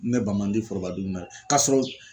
Ne ban man di foroba dumuni na k'a sɔrɔ